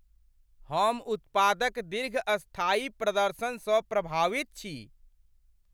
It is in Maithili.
हम उत्पादक दीर्घस्थायी प्रदर्शनसँ प्रभावित छी।